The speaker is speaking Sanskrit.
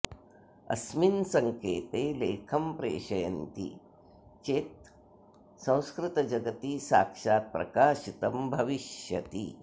अस्मिन् संकेते लेखं प्रेषयन्ति चेत् संस्कृतजगति साक्षात् प्रकाशितम् भविष्यति